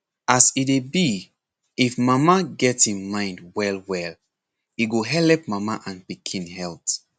as e dey be if mama get im mind well well e go helep mama and pikin health.